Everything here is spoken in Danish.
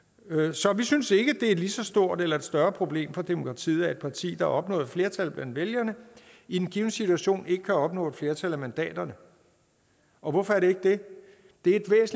så vi synes ikke er et lige så stort eller større problem for demokratiet at et parti har opnået flertal blandt vælgerne i en given situation ikke kan opnå et flertal af mandaterne hvorfor er det ikke det det er